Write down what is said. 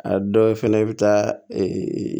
A dɔw fɛnɛ i bɛ taa